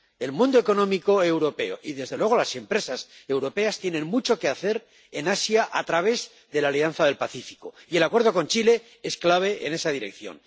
El mundo económico europeo y, desde luego, las empresas europeas tienen mucho que hacer en Asia a través de la Alianza del Pacífico, y el acuerdo con Chile es clave en esa dirección.